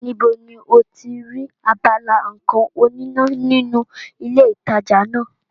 Níbo ni o ti rí abala nǹkan oníná nínú ilé ìtajà náà?